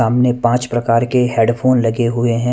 हमने पांच प्रकार के हेडफोन लगे हुए हैं।